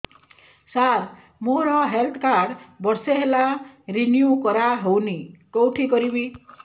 ସାର ମୋର health card ବର୍ଷେ ହେଲା ରିନିଓ କରା ହଉନି କଉଠି କରିବି